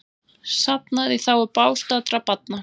Safnað í þágu bágstaddra barna